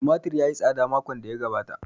Tumatir ya yi tsada makon da ya gabata